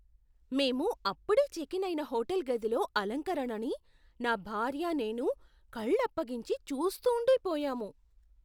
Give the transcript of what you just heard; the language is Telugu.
మేము అప్పుడే చెక్ ఇన్ అయిన హోటల్ గదిలో అలంకరణని, నా భార్య నేను, కళ్ళప్పగించి చూస్తూండిపోయాము.